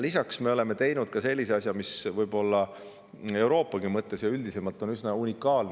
Lisaks oleme teinud sellise asja, mis Euroopas ja üldisemalt on üsna unikaalne.